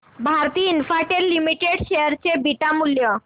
Bharti Infratel limited share चे beta मूल्य